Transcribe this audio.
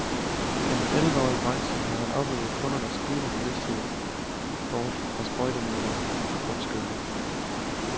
Gennem elleve år i branchen har han oplevet kundernes stigende bevidsthed bort fra sprøjtemidler og kunstgødning.